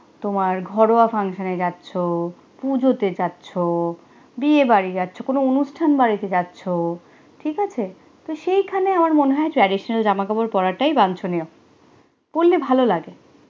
তোমার ঘরোয়া function নে যাচ্ছ পুজোতে চাচ্ছ বিয়ে বাড়ি যাচ্ছ কোন অনুষ্ঠান বাড়িতে যাচ্ছ, ঠিক আছে, তো সেইখানে আমার মনে হয় traditional জামাকাপড় পরা টাই বাঞ্ছনীয় পরলে ভালো লাগে